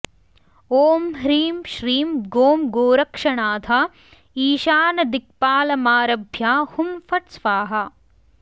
ॐ ह्रीं श्रीं गों गोरक्षनाथ ईशानदिक्पालमारभ्य हुँ फट् स्वाहा